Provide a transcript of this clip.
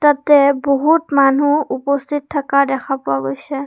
তাতে বহুত মানুহ উপস্থিত থাকা দেখা পোৱা গৈছে।